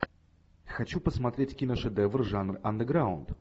хочу посмотреть киношедевр жанр андеграунд